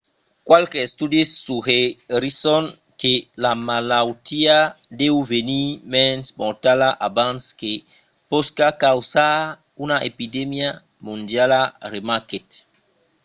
qualques estudis suggerisson que la malautiá deu venir mens mortala abans que pòsca causar una epidemia mondiala remarquèt